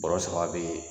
Bɔrɔ saba be